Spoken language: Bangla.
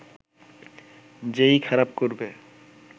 যে-ই খারাপ করবে